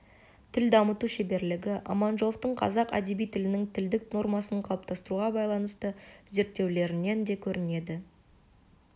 тіл дамыту шеберлігі аманжоловтың қазақ әдеби тілінің тілдік нормасын қалыптастыруға байланысты зерттеулерінен де көрінеді